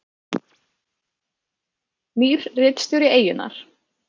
Nýr ritstjóri Eyjunnar